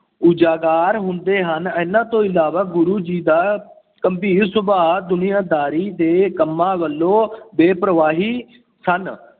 ਉਜਾਗਰ ਹੁੰਦੇ ਹਨ। ਇਹਨਾਂ ਤੋਂ ਇਲਾਵਾ ਗੁਰੂ ਜੀ ਦਾ ਗੰਭੀਰ ਸੁਭਾਅ, ਦੁਨੀਆਦਾਰੀ ਦੇ ਕੰਮਾਂ ਵੱਲੋਂ ਬੇਪਰਵਾਹੀ ਸਨ।